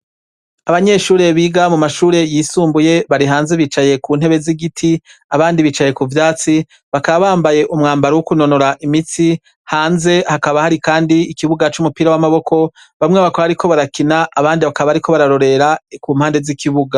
Abanyeshure biga mu mashure yisumbuye bari hanze bicaye ku ntebe z'igiti, abandi bicaye ku vyatsi bakaba bambaye umwambaro wo kunonora imitsi, hanze hakaba hari kandi ikibuga c'umupira w'amaboko bamwe bakaba bariko barakina abandi bakaba bariko bararorera ku mpande z'ikibuga.